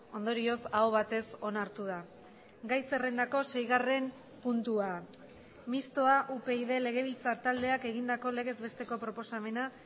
ondorioz aho batez onartu da gai zerrendako seigarren puntua mistoa upyd legebiltzar taldeak egindako legez besteko proposamena